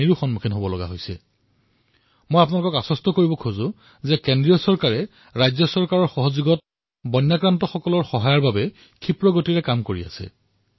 বানাক্ৰান্ত লোকসকলক মই আশ্বাস প্ৰদান কৰিছো যে কেন্দ্ৰ ৰাজ্য চৰকাৰে সহযোগিতাৰে প্ৰভাৱিত লোকসকলক সাহায্য প্ৰদানৰ বাবে ক্ষীপ্ৰ গতিৰে কাম কৰি আছে